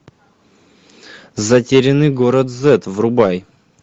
затерянный город зет врубай